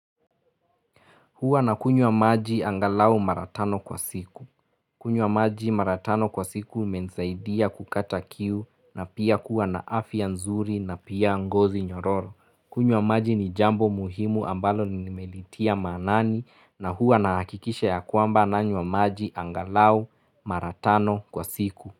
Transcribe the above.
Huwa na kunywa maji angalau maratano kwa siku. Kunywa maji mara tano kwa siku imenisaidia kukata kiu na pia kuwa na afya nzuri na pia ngozi nyororo. Kunywa maji ni jambo muhimu ambalo ni nimelitia maanani na huwa na hakikisha ya kwamba nanywa maji angalau maratano kwa siku.